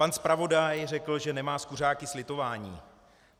Pan zpravodaj řekl, že nemá s kuřáky slitování.